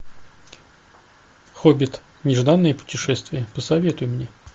хоббит нежданное путешествие посоветуй мне